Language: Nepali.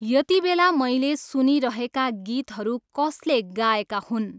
यतिबेला मैले सुनिरहेका गीतहरू कसले गाएका हुन्?